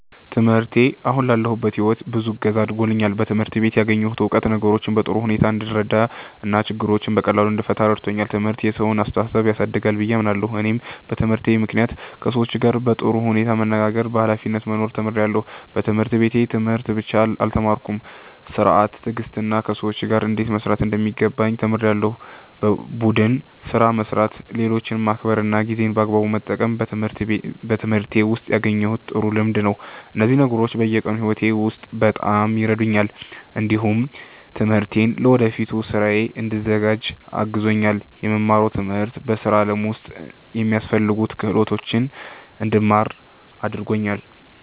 ትምህርቴ አሁን ላለሁበት ሕይወት ብዙ እገዛ አድርጎልኛል። በትምህርት ቤት ያገኘሁት እውቀት ነገሮችን በጥሩ ሁኔታ እንድረዳ እና ችግሮችን በቀላሉ እንድፈታ ረድቶኛል። ትምህርት የሰውን አስተሳሰብ ያሳድጋል ብዬ አምናለሁ። እኔም በትምህርቴ ምክንያት ከሰዎች ጋር በጥሩ ሁኔታ መነጋገርና በኃላፊነት መኖር ተምሬያለሁ። በትምህርት ቤት ትምህርት ብቻ አልተማርኩም፤ ሥርዓት፣ ትዕግስትና ከሰዎች ጋር እንዴት መስራት እንደሚገባም ተምሬያለሁ። ቡድን ስራ መስራት፣ ሌሎችን ማክበር እና ጊዜን በአግባቡ መጠቀም በትምህርቴ ውስጥ ያገኘሁት ጥሩ ልምድ ነው። እነዚህ ነገሮች በየቀኑ ሕይወቴ ውስጥ በጣም ይረዱኛል። እንዲሁም ትምህርቴ ለወደፊት ሥራዬ እንድዘጋጅ አግዞኛል። የምማረው ትምህርት በሥራ ዓለም ውስጥ የሚያስፈልጉ ክህሎቶችን እንድማር አድርጎኛል።